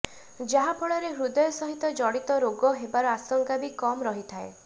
ଯାହାଫଳରେ ହୃଦୟ ସହିତ ଜଡ଼ିତ ରୋଗ ହେବାର ଆଶଙ୍କା ବି କମ୍ ରହିଥାଏ